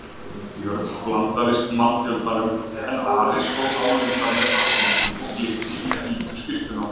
Björn blandaðist mannfjöldanum en Ari stóð álengdar með hattinn sinn og glitti í hvíta skyrtuna.